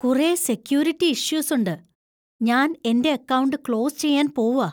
കുറേ സെക്യൂരിറ്റി ഇഷ്യൂസുണ്ട്. ഞാൻ എന്‍റെ അക്കൗണ്ട് ക്ലോസ് ചെയ്യാൻ പോവാ .